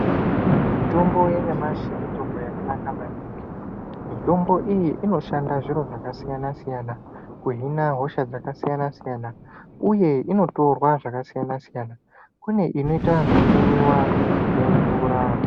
Mitombo yanyamashi mitombo yakanaka maningi. Mitombo iyi inoshanda zviro zvakasiyana-siyana kuhina hosha dzakasiyana-siyana uye inotorwa zvakasiyana-siyana. Kune inoita zvekumwiwa nemvura.